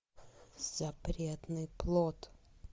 запретный плод